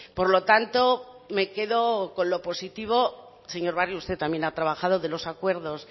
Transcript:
por lo tanto me quedo con lo positivo señor barrio usted también ha trabajado de los acuerdos